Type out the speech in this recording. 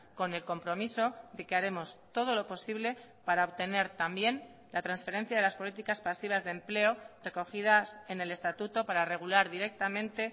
con el compromiso de que haremos todo lo posible para obtener también la transferencia de las políticas pasivas de empleo recogidas en el estatuto para regular directamente